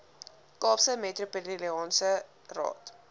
kaapse metropolitaanse raad